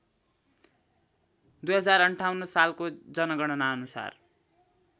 २०५८ सालको जनगणनाअनुसार